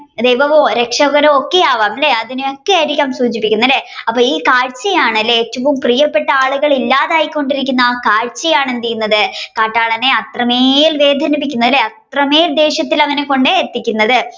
ദൈവമോ രക്ഷകനോ ഒക്കെ ആകാം അല്ലെ അതിനെ ഒക്കെ ആയിരിക്കാം സൂചിപ്പിക്കണ അല്ലെ അപ്പൊ ഈ കാഴ്ച ആണല്ലേ ഏറ്റവും പ്രിയപ്പെട്ട ആളുകൾ ഇല്ലാതായിക്കൊണ്ടിരിയ്ക്കുന്ന ആ കാഴ്ചചാണ എന്തെയുന്നത് കാട്ടാളനെ അത്രമേൽ വേദനിപ്പിക്കുന്നത് അല്ലെ അത്രമേൽ ദേഷ്യത്തെ അവനെ കൊണ്ട് എത്തിക്കുന്നത്